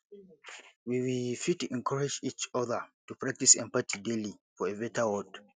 we we fit encourage each other to practice empathy daily for a beta world